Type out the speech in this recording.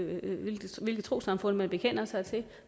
hvilket trossamfund man bekender sig til